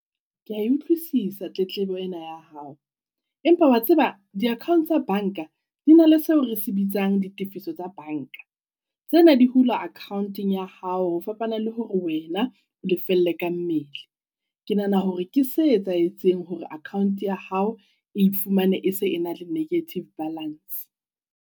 Kea e utlwisisa tletlebo ena ya hao, empa wa tseba di-account tsa bank-a di na le seo re se bitsang ditefiso tsa bank-a. Tsena di hulwa account-eng ya hao ho fapana le hore wena o lefelle ka mmele. Ke nahana hore ke se etsahetseng hore account ya hao e ifumane e se e na le negative balance.